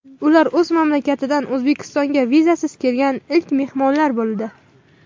Ular o‘z mamlakatidan O‘zbekistonga vizasiz kelgan ilk mehmonlar bo‘ldi.